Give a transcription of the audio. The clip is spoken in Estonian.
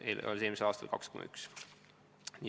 Eelmisel aastal oli see summa 2,1 miljonit eurot.